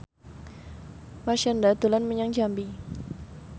Marshanda dolan menyang Jambi